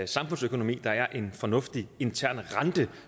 samfundsøkonomi der er en fornuftig intern rente